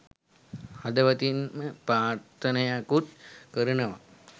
හදවතින්ම ප්‍රාර්ථනයකුත් කරනවා